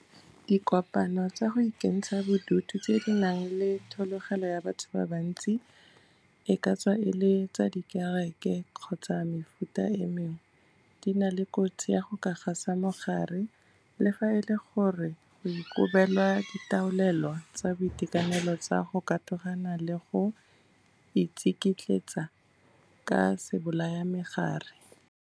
Dikopano tsa go ikentsha bodutu tse di nang le thologelo ya batho ba bantsi, e ka tswa e le tsa dikereke kgotsa tsa mefuta e mengwe, di na le kotsi ya go ka gasa mogare, le fa e le gore go ikobelwa ditaolelo tsa boitekanelo tsa go katogana le go itsikitletsa ka sebolayamegare.